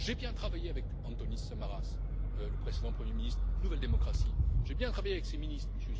J'ai bien travaillé avec Antonis Samaras, le précédent Premier ministre du parti Nouvelle Démocratie, j'ai bien travaillé avec ses ministres, M.